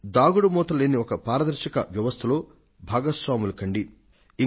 దాగుడుమూతలు లేని ఒక పారదర్శక వ్యవస్థలో భాగస్వాములు కండి